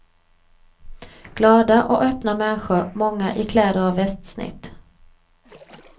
Glada och öppna människor, många i kläder av västsnitt.